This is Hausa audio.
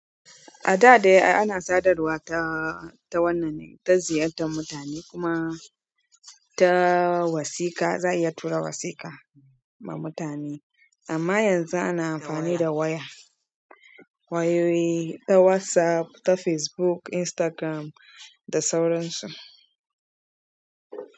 A da dai ana sadarwa ta. Ta wannan ta ziyartar mutane, kuma ta wasiƙa. Za a iya tura wasiƙa ma mutane. Amma yanzu ana amfani da waya, wayoyi, ta WhatsApp, ta Facebook, Instagram da sauran su.